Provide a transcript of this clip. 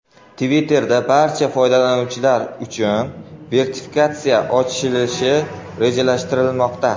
Twitter’da barcha foydalanuvchilar uchun verifikatsiya ochilishi rejalashtirilmoqda.